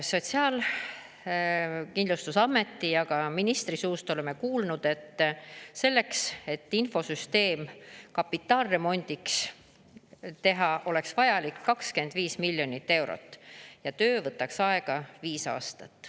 Sotsiaalkindlustusameti ja ka ministri suust oleme kuulnud, et selleks, et infosüsteem kapitaalremondiks teha, oleks vajalik 25 miljonit eurot ja töö võtaks aega viis aastat.